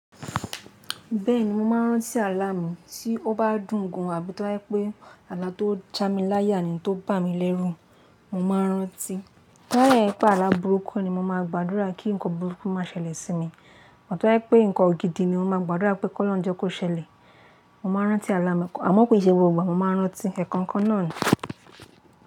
Bẹ́ẹ̀ni mo máa ń rántí àlá mi tí ó bá dùn gan an àbí tó abi to ba je wipe àlá tó já mi láyà ni tó bà mí lérú, mo máa rántí. Tó ba de je wipe àlá burúkú ni mo máa gba àdúrà kí ǹkan burúkú má ṣẹlẹ̀ sí mi. To ba je wipé ǹkan gidi ni mo máa gba àdúrà pé kó lọ́hun je kó ṣẹlẹ̀. Mo máa rántí àlá mi, àmọ́ kìí ṣe gbogbo ìgbà mo máa ń rántí ẹ̀kankan náà ni.